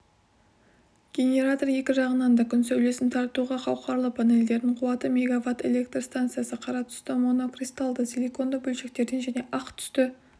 генератор екі жағынан да күн сәулесін тартуға қауқарлы панельдердің қуаты мегаватт электр станциясы қара түсті монокристалды силиконды бөлшектерден және ақ түсті